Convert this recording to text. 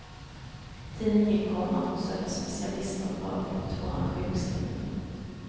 Tiden gick, komma hon sökte specialister och var fortfarande sjukskriven. punkt